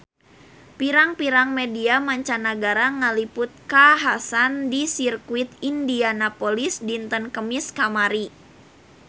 Pirang-pirang media mancanagara ngaliput kakhasan di Sirkuit Indianapolis dinten Kemis kamari